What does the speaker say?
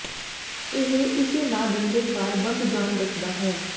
ਇਹ ਇਸੇ ਨਾ ਡੰਡੇ ਕਾਰ ਬੰਦ ਜਾਣ ਦੱਸਦਾ ਹੈ